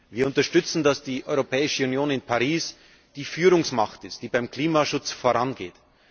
Wir unterstützen, dass die Europäische Union in Paris die Führungsmacht ist, die beim Klimaschutz vorangeht.